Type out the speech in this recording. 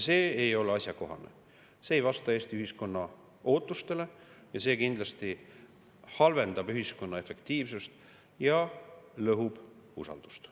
See ei ole asjakohane, see ei vasta Eesti ühiskonna ootustele ja see kindlasti halvendab ühiskonna efektiivsust ja lõhub usaldust.